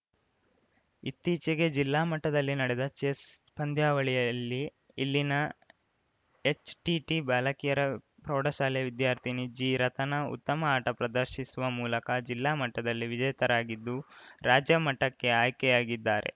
ಇತ್ತೀಚೆಗೆ ಜಿಲ್ಲಾ ಮಟ್ಟದಲ್ಲಿ ನಡೆದ ಚೆಸ್‌ ಪಂದ್ಯಾವಳಿಯಲ್ಲಿ ಇಲ್ಲಿನ ಎಚ್‌ಟಿಟಿ ಬಾಲಕಿಯರ ಪ್ರೌಢಶಾಲೆ ವಿದ್ಯಾರ್ಥಿನಿ ಜಿರತನ ಉತ್ತಮ ಆಟ ಪ್ರದರ್ಶಿಸುವ ಮೂಲಕ ಜಿಲ್ಲಾ ಮಟ್ಟದಲ್ಲಿ ವಿಜೇತರಾಗಿದ್ದು ರಾಜ್ಯ ಮಟ್ಟಕ್ಕೆ ಆಯ್ಕೆಯಾಗಿದ್ದಾರೆ